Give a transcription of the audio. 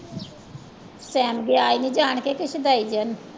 ਸੈਮ ਗਿਆ ਹੀ ਨੀ ਜਾਣ